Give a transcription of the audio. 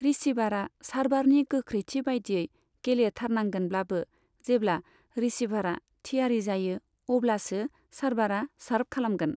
रिसीभारा सार्भारनि गोख्रैथि बायदियै गेलेथारनांगोनब्लाबो, जेब्ला रिसीभारा थियारि जायो, अब्लासो सार्भारा सार्भ खालामगोन।